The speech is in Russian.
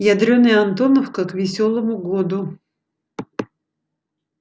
ядрёная антоновка к весёлому году